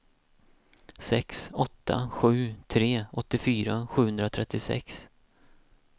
sex åtta sju tre åttiofyra sjuhundratrettiosex